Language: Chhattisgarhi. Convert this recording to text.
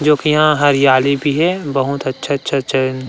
जो कि यहाँ हरियाली भी हे बहुत अच्छा-अच्छा चैन--